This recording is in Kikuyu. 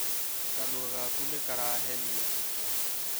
Kanua gaku nĩ karahenia